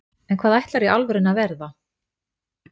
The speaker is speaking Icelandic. en hvað ætlarðu í alvörunni að verða?